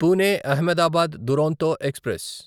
Pune Ahmedabad Duronto express